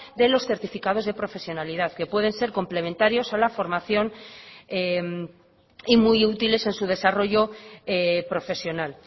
de los certificados de profesionalidad que pueden ser complementarios a la formación y muy útiles en su desarrollo profesional